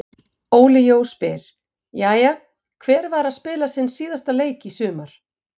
Óli Jó spyr: Jæja, hver var að spila sinn síðasta leik í sumar?